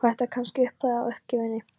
Var þetta kannski upphafið að uppgjöfinni?